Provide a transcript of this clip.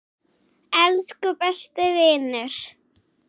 Elsku besti vinur.